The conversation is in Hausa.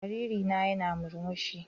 Jariri na yana murmushi.